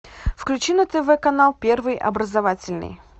включи на тв канал первый образовательный